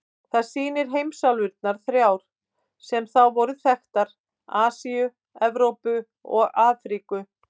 Það sýnir heimsálfurnar þrjár sem þá voru þekktar: Asíu, Evrópu og Afríku.